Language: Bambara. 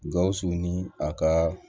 Gawusu ni a ka